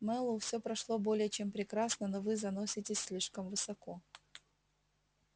мэллоу все прошло более чем прекрасно но вы заноситесь слишком высоко